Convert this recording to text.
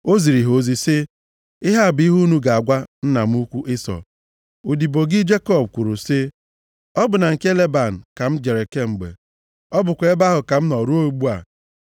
O ziri ha ozi sị, “Ihe a bụ ihe unu ga-agwa nna m ukwu Ịsọ, ‘Odibo gị Jekọb kwuru sị, Ọ bụ na nke Leban ka m jere kemgbe, ọ bụkwa ebe ahụ ka m nọ ruo ugbu a.